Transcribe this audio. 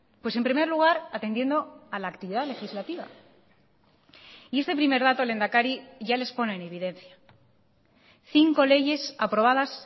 pues en primer lugar atendiendo a la actividad legislativa y este primer dato lehendakari ya les pone en evidencia cinco leyes aprobadas